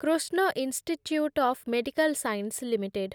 Krishna institute of medical science limited